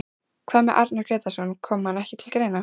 Hvað með Arnar Grétarsson, kom hann ekki til greina?